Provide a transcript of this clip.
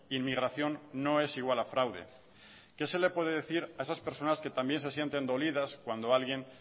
inmigración no es igual a fraude qué se le puede decir a esas personas que también se sienten dolidas cuando alguien